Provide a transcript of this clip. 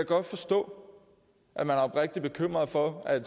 godt forstå at man er oprigtig bekymret for at